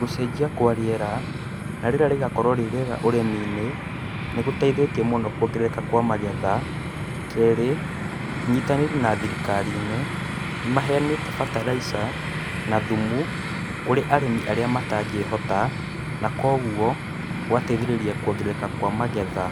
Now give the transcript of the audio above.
Gũcenjia kwa rĩera na rĩera rĩgakorũo rĩ rĩega ũrĩmi-inĩ, nĩ gũteithĩtie mũno kuongerereka kwa magetha, kerĩ, ũnyitanĩri na thirikarinĩ nĩmaheanĩte bataraitha na thumu kũrĩ arĩmi arĩa matangĩhota na koguo gũgateithĩrĩria kuongerereka kwa magetha.